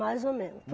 Mais ou menos.